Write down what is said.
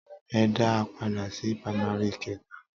Ẹ dá a padà sí pamari keta.